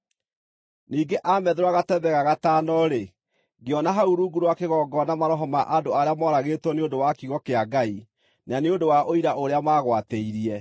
Ningĩ aamethũra gatembe ga gatano-rĩ, ngĩona hau rungu rwa kĩgongona maroho ma andũ arĩa mooragĩtwo nĩ ũndũ wa kiugo kĩa Ngai, na nĩ ũndũ wa ũira ũrĩa maagwatĩirie.